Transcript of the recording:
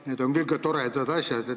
Need on küll ka toredad asjad.